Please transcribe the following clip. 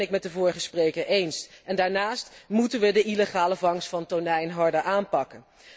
Dat ben ik met de vorige spreker eens. En daarnaast moeten wij de illegale vangst van tonijn harder aanpakken.